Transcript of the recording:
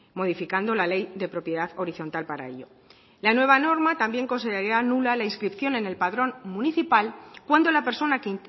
modificando la ley de propiedad horizontal para ello la nueva norma también consideraría nula la inscripción en el padrón municipal cuando la persona que